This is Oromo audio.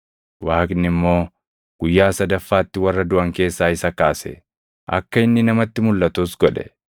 Waaqni immoo guyyaa sadaffaatti warra duʼan keessaa isa kaase; akka inni namatti mulʼatus godhe.